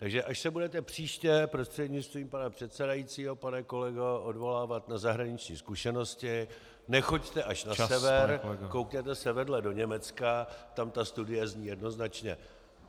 Takže až se budete příště, prostřednictvím pana předsedajícího pane kolego, odvolávat na zahraniční zkušenosti , nechoďte až na sever, koukněte se vedle do Německa, tam ta studie zní jednoznačně.